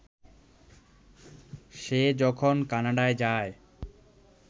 সে যখন কানাডা যায়